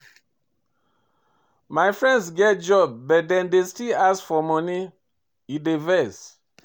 My friends get job but dem dey still ask me for moni, e dey vex.